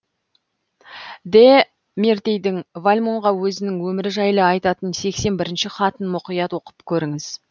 де мертейдің вальмонға өзінің өмірі жайлы айтатын сексен бірінші хатын мұқият оқып көріңіз